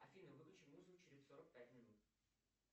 афина выключи музыку через сорок пять минут